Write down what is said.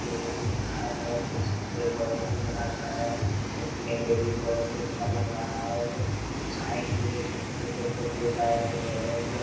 ये भी एक घर है देख सकते ये बहुत बड़ा घर है देखने में भी बहुत अच्छा लग रहा है और साइड में छोटे-छोटे पौधे उगाए गए है और--